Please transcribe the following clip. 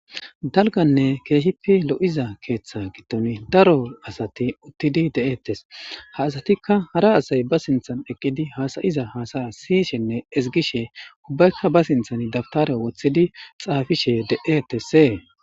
Daliganne keeshifi lo'iza keeththa gittoni daro asati uttidi de'ettes ha asatikka hara asay ba sinthan eqqidi haasayiza haasaya siyishenne ezigishe ubbaykka ba sinthan dabitare wothidi xaafishe detese